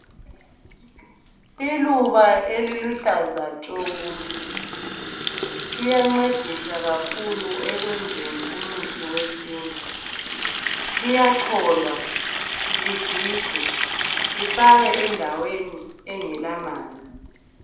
Iluba eliluhlaza tshoko liyancedisa kakhulu ekwenzeni umuthi wesintu. Liyacholwa ligigwe lifakwe endaweni engelamanzi.